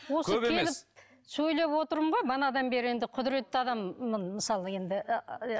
сөйлеп отырмын ғой манадан бері енді құдыретті адаммын мысалы енді